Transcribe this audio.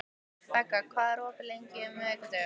Begga, hvað er opið lengi á miðvikudaginn?